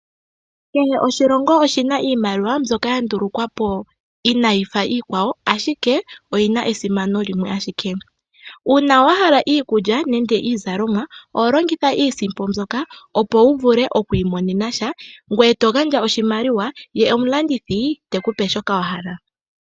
Kehe oshilongo oshi na iimaliwa mbyoka ya ndulukwa po inayi fa iikwawo ashike oyi na esimano limwe ashike. Uuna wa hala iikulya nenge iizalomwa oho longitha iisimpo mbyoka opo wu vule okwi imonena sha ngweye to gandja oshimaliwa ye omulandithi teku pe shoka wa hala.